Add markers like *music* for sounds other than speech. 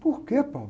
Por que? *unintelligible*